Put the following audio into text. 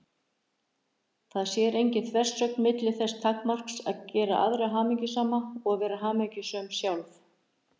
Það sé engin þversögn milli þess takmarks að gera aðra hamingjusama og vera hamingjusöm sjálf.